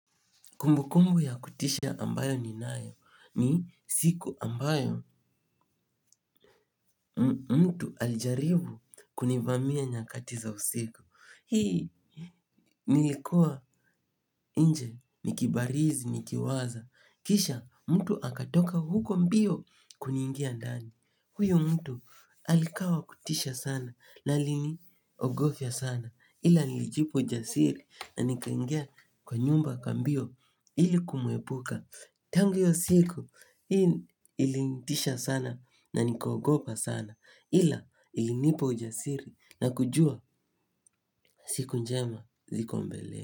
Kumbukumbu ya kutisha ambayo ni nayo ni siku ambayo mtu alijaribu kunivamia nyakati za usiku. Hii, nilikuwa nje, nikibarizi, nikiwaza. Kisha mtu akatoka huko mbio kuniingia ndani. Huyo mtu alikaa wa kutisha sana na aliniogofya sana ila nilijipa ujasiri na nikangia kwa nyumba kwa mbio ili kumwepuka. Tangu hiyo siku, hii ilinitisha sana na nikogopa sana ila ilinipa ujasiri na kujua siku njema ziko mbele.